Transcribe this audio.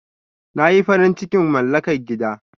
Na yi farin cikin malaka gida.